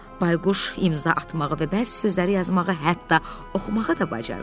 Bayquş imza atmağa və bəzi sözləri yazmağa, hətta oxumağa da bacarırdı.